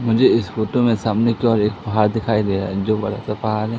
मुझे इस फोटो में सामने की और एक पहाड़ दिखाई दे रहा है जो बड़ा सा पहाड़ है।